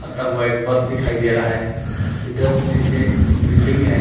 आता हुआ एक बस दिखाई दे रहा है उसके जस्ट नीचे बिल्डिंग है।